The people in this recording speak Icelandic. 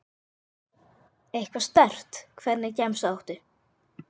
Eitthvað sterkt Hvernig gemsa áttu?